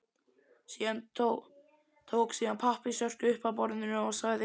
Tók síðan pappírsörk upp af borðinu og sagði